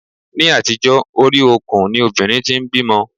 Ni àtijó, orí okùn ni obìnrin tí ń bímọ.